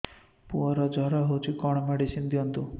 ପୁଅର ଜର ହଉଛି କଣ ମେଡିସିନ ଦିଅନ୍ତୁ